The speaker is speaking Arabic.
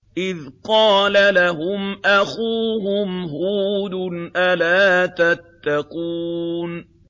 إِذْ قَالَ لَهُمْ أَخُوهُمْ هُودٌ أَلَا تَتَّقُونَ